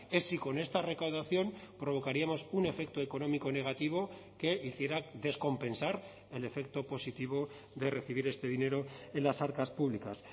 es si con esta recaudación provocaríamos un efecto económico negativo que hiciera descompensar el efecto positivo de recibir este dinero en las arcas públicas